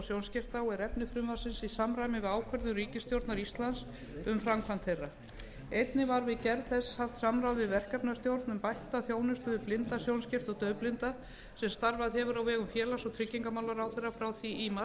sjónskerta og er efni frumvarpsins í samræmi við ákvörðun ríkisstjórnar íslands um framkvæmd þeirra tillagna einnig var við gerð þess haft samráð við verkefnisstjórn um bætta þjónustu við blinda sjónskerta og daufblinda sem starfað hefur á vegum félags og tryggingamálaráðherra frá því í mars